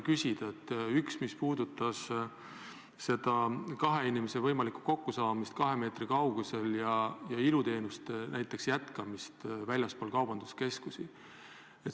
Üks puudutab seda kahe inimese võimalikku kokkusaamist kahe meetri kaugusel ja teine näiteks iluteenuste jätkamist väljaspool kaubanduskeskusi.